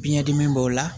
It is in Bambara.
Biɲɛ dimi b'o la